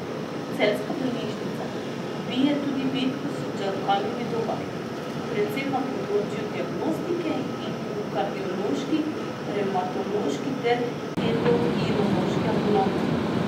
Celjska bolnišnica bije tudi bitko s čakalnimi dobami, predvsem na področju diagnostike in v kardiološki, revmatološki ter endokrinološki ambulanti.